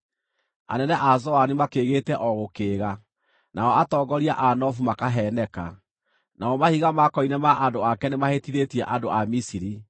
Anene a Zoani makĩĩgĩte o gũkĩĩga, nao atongoria a Nofu makaheeneka; namo mahiga ma koine ma andũ ake nĩmahĩtithĩtie andũ a Misiri.